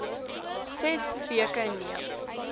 ses weke neem